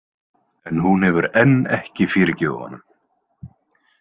En hún hefur enn ekki fyrirgefið honum.